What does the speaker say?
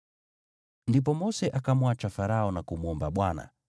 Ndipo Mose akamwacha Farao na kumwomba Bwana ,